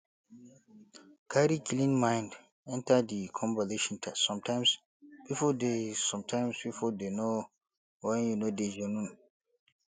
carry clean mind enter di conversation sometimes pipo dey sometimes pipo dey know when you no dey genuine